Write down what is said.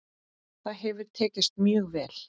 Það hefur tekist mjög vel.